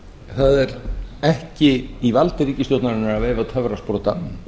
það er ekki í valdi ríkisstjórnarinnar að veifa töfrasprota